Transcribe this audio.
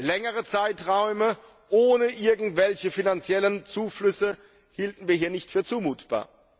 Längere Zeiträume ohne irgendwelche finanziellen Zuflüsse hielten wir hier nicht für zumutbar.